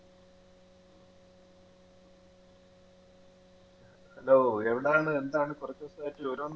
hello എവിടാണ്? എന്താണ്? കുറച്ച് ദിവസമായിട്ട് വിവരം ഒന്നും